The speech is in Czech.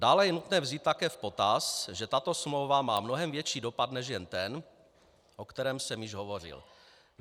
Dále je nutné vzít také v potaz, že tato smlouva má mnohem větší dopad, než je ten, o kterém jsem již hovořil.